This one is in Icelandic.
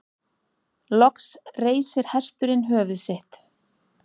Loks reisir hesturinn höfuð sitt.